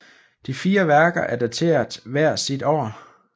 De fire værker er dateret hver sit år